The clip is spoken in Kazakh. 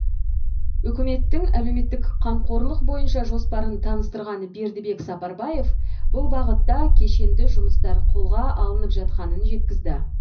үкіметтің әлеуметтік қамқорлық бойынша жоспарын таныстырған бердібек сапарбаев бұл бағытта кешенді жұмыстар қолға алынып жатқанын жеткізді